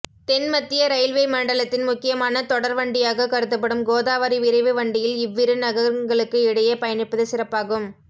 தென் மத்திய ரயில்வே மண்டலத்தின் முக்கியமான தொடர்வண்டியாகக் கருதப்படும் கோதாவரி விரைவு வண்டியில் இவ்விரு நகரங்களுக்கு இடையே பயணிப்பது சிறப்பாகும்